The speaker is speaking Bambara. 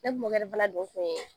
Ne mɔkɛ